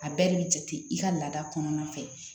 A bɛɛ de bɛ jate i ka laada kɔnɔna fɛ